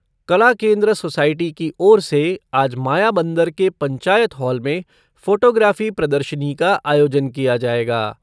कला केन्द्र सोसाइटी की ओर से आज मायाबंदर के पंचायत हॉल में फ़ोटोग्राफ़ी प्रदर्शनी का आयोजन किया जाएगा।